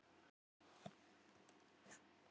Fullunninn kísilgúr er í duftformi, og framleiðir